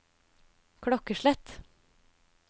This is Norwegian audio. klokkeslett